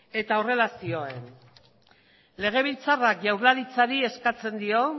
eta horrela zioen legebiltzarrak jaurlaritzari eskatzen dio